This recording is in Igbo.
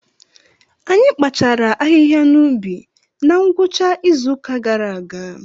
Anyị kpachaara ahịhịa n’ubi na ngwụcha izu ụka gara aga.